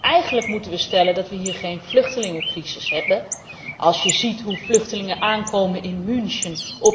Want eigenlijk moeten we stellen dat we hier geen vluchtelingencrisis hebben, als je ziet hoe vluchtelingen aankomen op